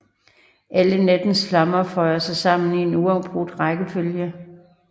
Alle nattens flammer føjer sig sammen i en uafbrudt rækkefølge